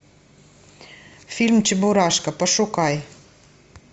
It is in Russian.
фильм чебурашка пошукай